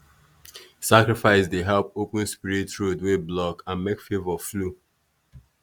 sacrifice dey help open spirit road wey block and make favour flow.